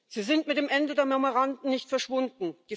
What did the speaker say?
Sie sind mit dem Ende der Memoranden nicht verschwunden.